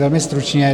Velmi stručně.